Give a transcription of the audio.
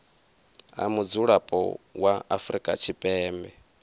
a mudzulapo wa afrika tshipembe